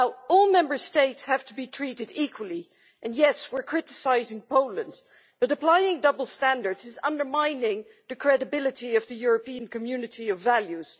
All Member States have to be treated equally, and yes, we're criticising Poland, but applying double standards undermines the credibility of the European community of values.